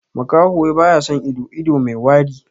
Makaho wai baya son ido, ido mai wari.